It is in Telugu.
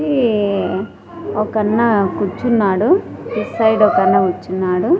ఈ ఒకన్నా కూర్చున్నాడు ఇట్సైడ్ ఒకన్నా కూర్చున్నాడు.